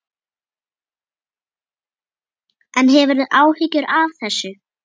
En hefurðu áhyggjur af þessu?